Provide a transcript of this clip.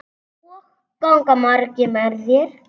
Og ganga margir með þér?